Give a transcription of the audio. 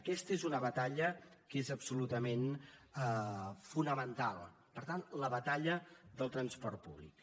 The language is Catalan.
aquesta és una batalla que és absolutament fonamental per tant la batalla de transport públic